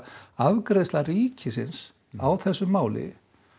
afgreiðsla ríkisins á þessu máli